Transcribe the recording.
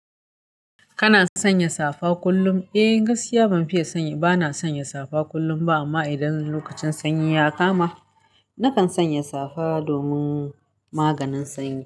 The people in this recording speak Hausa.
Kana sanya safa kullum? Eh gaskiya ban fiye sanya, bana sanya safa kullum ba amma idan lokacin sanyi ya kama, nakan sanya safa domin maganin sanyi.